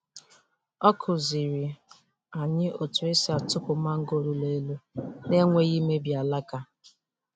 O kụziri anyị otu esi atụpụ mango ruru eru n’enweghị imebi alaka.